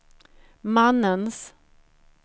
mannens